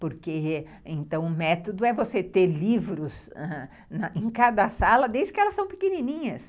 Porque, então, né, o método é você ter livros em cada sala, desde que elas são pequenininhas.